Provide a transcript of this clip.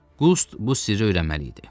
Qust bu sirri öyrənməli idi.